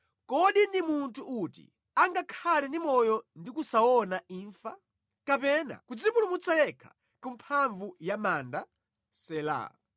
Kodi ndi munthu uti angakhale ndi moyo ndi kusaona imfa? Kapena kudzipulumutsa yekha ku mphamvu ya manda? Sela